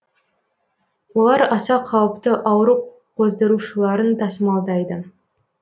олар аса кауіпті ауру қоздырушыларын тасымалдайды